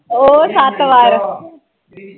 ਉਹ ਸੱਤ ਵਾਰ